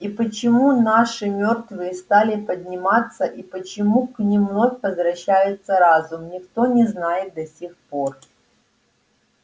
и почему наши мёртвые стали подниматься и почему к ним вновь возвращается разум никто не знает до сих пор